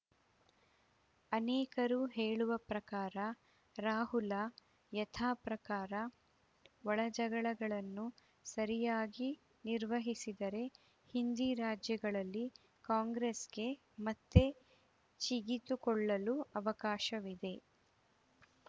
ಅನೇಕರು ಹೇಳುವ ಪ್ರಕಾರ ರಾಹುಲ ಯಥಾಪ್ರಕಾರ ಒಳಜಗಳಗಳನ್ನು ಸರಿಯಾಗಿ ನಿರ್ವಹಿಸಿದರೆ ಹಿಂದಿ ರಾಜ್ಯಗಳಲ್ಲಿ ಕಾಂಗ್ರೆಸ್‌ಗೆ ಮತ್ತೆ ಚಿಗಿತುಕೊಳ್ಳಲು ಅವಕಾಶವಿದೆ